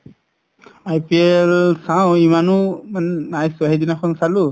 IPL চাও ইমানো উব নাই চোৱা সিদিনাখন চালো